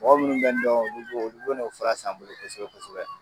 Mɔgɔ munnu bɛ n dɔn ulu b'o ulu bɛ na o fura san n bolo kosɛbɛ kosɛbɛ.